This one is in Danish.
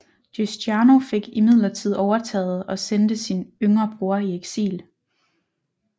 Giustiniano fik imidlertid overtaget og sendte sin yngre bror i eksil